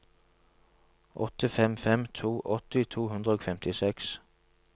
åtte fem fem to åtti to hundre og femtiseks